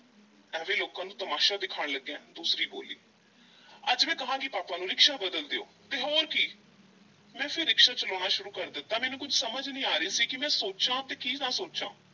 ਐਵੇਂ ਲੋਕਾਂ ਨੂੰ ਤਮਾਸ਼ਾ ਦਿਖਾਣ ਲੱਗਿਆਂ ਦੂਸਰੀ ਬੋਲੀ, ਅੱਜ ਮੈਂ ਕਹਾਂਗੀ ਪਾਪਾ ਨੂੰ ਰਿਕਸ਼ਾ ਬਦਲ ਦਿਓ, ਤੇ ਹੋਰ ਕੀ ਮੈਂ ਫੇਰ ਰਿਕਸ਼ਾ ਚਲਾਉਣਾ ਸ਼ੁਰੂ ਕਰ ਦਿੱਤਾ, ਮੈਨੂੰ ਕੁਝ ਸਮਝ ਨਹੀਂ ਆ ਰਹੀ ਸੀ ਕਿ ਮੈਂ ਸੋਚਾਂ ਤੇ ਕੀ ਨਾ ਸੋਚਾਂ।